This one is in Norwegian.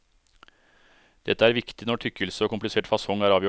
Dette er viktig når tykkelse og komplisert fasong er avgjørende.